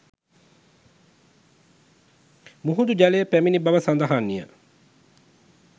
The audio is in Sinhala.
මුහුදු ජලය පැමිණි බව සඳහන්ය